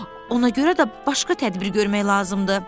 Ona görə də başqa tədbir görmək lazımdır.